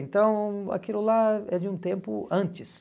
Então aquilo lá é de um tempo antes.